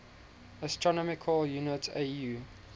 astronomical unit au